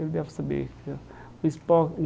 Ele deve saber.